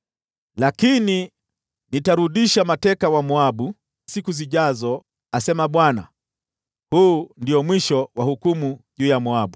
“Lakini nitarudisha mateka wa Moabu, katika siku zijazo,” asema Bwana . Huu ndio mwisho wa hukumu juu ya Moabu.